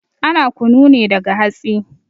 Ana kunu ne daga hatsi